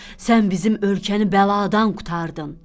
Sən bizim ölkəni bəladan qurtardın.